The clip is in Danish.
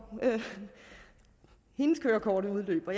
hendes kørekort udløber